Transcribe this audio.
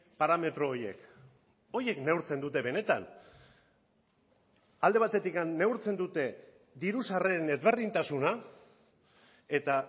parametro horiek horiek neurtzen dute benetan alde batetik neurtzen dute diru sarreren ezberdintasuna eta